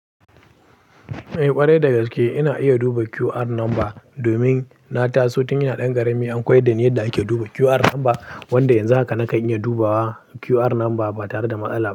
Eh ƙwarai dagaske ina iya duba QR number domin na taso tun ina ɗan ƙarami an koyda ni yadda ake duba QR number wanda yanzu haka na iya dubawa QR number ba tare da matsala.